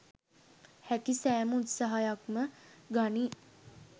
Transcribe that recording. හැකි සෑම උත්සාහයක්ම ගනී